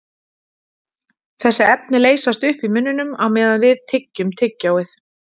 Þessi efni leysast upp í munninum á meðan við tyggjum tyggjóið.